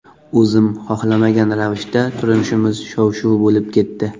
O‘zim xohlamagan ravishda turmushimiz shov-shuv bo‘lib ketdi.